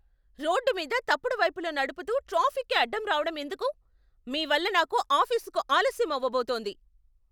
Road మీద తప్పుడు వైపులో నడుపుతూ ట్రాఫిక్కి అడ్డు రావడం ఎందుకు? మీ వల్ల నాకు ఆఫీసుకు ఆలస్యం అవబోతోంది.